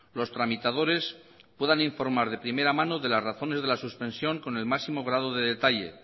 los tramitadores puedan informar de primera mano de las razones de suspensión con el máximo grado de detalle